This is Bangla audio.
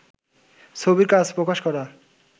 ছবির কাজ প্রকাশ করা